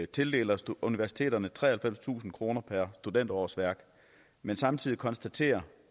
tildeler universiteterne treoghalvfemstusind kroner per studenterårsværk men samtidig konstaterer